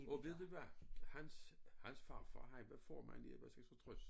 Og ved du hvad hans hans farfar han var formand i 1966